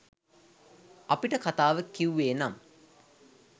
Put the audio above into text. අපිට කතාව කිව්වෙ නම්